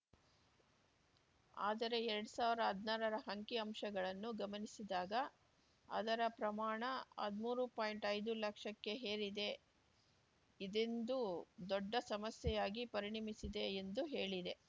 ಆದರೆ ಎರಡ್ ಸಾವ್ರಾ ಹದ್ನಾರರ ಅಂಕಿ ಅಂಶಗಳನ್ನು ಗಮನಿಸಿದಾಗ ಅದರ ಪ್ರಮಾಣ ಹದ್ಮೂರು ಪಾಯಿಂಟ್ಐದು ಲಕ್ಷಕ್ಕೆ ಏರಿದೆ ಇದಿಂದು ದೊಡ್ಡ ಸಮಸ್ಯೆಯಾಗಿ ಪರಿಣಮಿಸಿದೆ ಎಂದು ಹೇಳಿದೆ